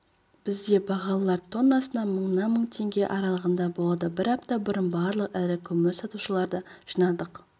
бізде бағалар тоннасына мыңнан мың теңге аралығында болады бір апта бұрын барлық ірі көмір сатушыларды жинадық